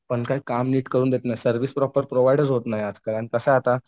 पण काही काम नीट करून देत नाहीत सर्व्हिस प्रोव्हाइडचं होत नाही आता कारण कसं आहे आता.